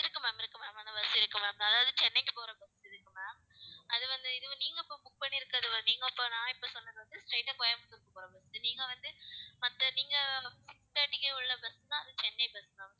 இருக்கு ma'am இருக்கு ma'am அந்த bus இருக்கு ma'am அதாவது சென்னைக்கு போற bus ma'am அது வந்து, இதுவும் நீங்க இப்ப book பண்ணிருக்கிறது. நான் இப்ப சொன்னது வந்து, straight ஆ கோயம்புத்தூருக்கு bus நீங்க வந்து, மத்த நீங்க six thirty க்கு உள்ள bus ன்னா அது சென்னை bus ma'am